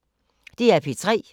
DR P3